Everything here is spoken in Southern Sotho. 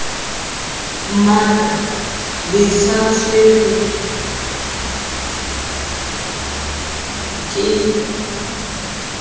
mmata le sa tshelweng ke